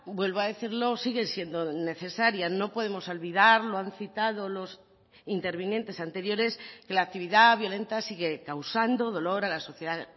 vuelvo a decirlo sigue siendo necesaria no podemos olvidar lo han citado los intervinientes anteriores que la actividad violenta sigue causando dolor a la sociedad